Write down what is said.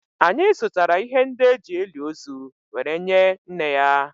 anyị zụtara ihe ndị e ji eli ozu were nye nne ya